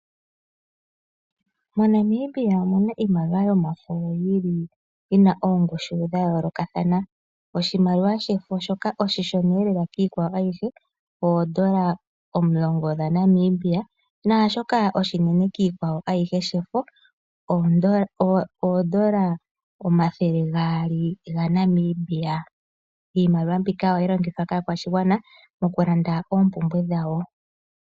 MoNamibia omuna iimaliwa yomafo yili yina oongushu dhayoolokathana, oshimaliwa shefo shoka oshishoneelela kiikwawo ayihe oodola omulongo dhaNamibia naashoka oshinene kiikwawo ayihe shefo oodola omathele gaali gaNamibia. Iimaliwa mbika ohayi longithwa kaakwashigwana yaNamibia mokulanda oompumbwe dhawo.